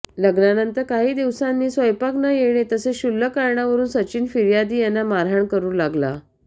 लग्नानंतर काही दिवसांनी स्वयंपाक न येणे तसेच शुल्लक कारणांवरून सचिन फिर्यादी यांना मारहाण करून लागला